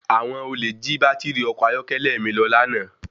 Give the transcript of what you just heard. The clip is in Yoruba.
Àwọn olè jí baátìrì ọkọ̀ ayọ́kẹ́lẹ́ mi lọ lánàá.